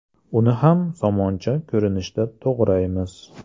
Uni ham somoncha ko‘rinishida to‘g‘raymiz.